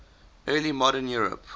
early modern europe